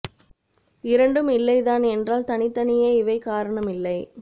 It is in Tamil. இரண்டும் இல்லைதான் என்றால் தனித் தனியே இவை காரணம் இல்லை